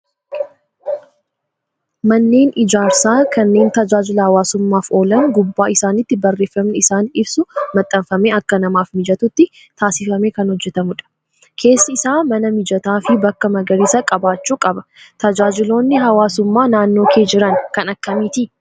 Manneen ijaarsaa kanneen tajaajila hawaasummaaf oolan gubbaa isaaniitti barreeffamni isaan ibsu maxxanfamee akka namaaf mijatutti taasifamee kan hojjatamudha. Keessi isaa mana mijataa fi bakka magariisa qabaachuu qaba. Tajaajiloonni hawaasummaa naannoo kee jiran kan akkamiiti?